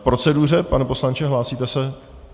K proceduře, pane poslanče, hlásíte se?